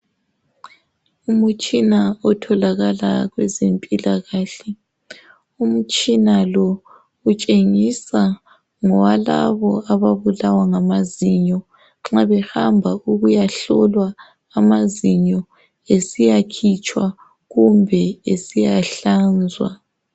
Umutshina otholakala kwezempilakahle, umtshina lo utshengisa ngowalabo ababulawa ngamazinyo. Nxa behamba ukuyahlolwa amazinyo, esiyakhitshwa kumbe esiya hlanzwa.